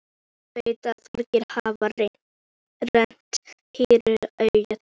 Hann veit að margir hafa rennt hýru auga til hennar.